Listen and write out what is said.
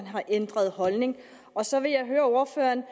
har ændret holdning og så vil jeg høre ordføreren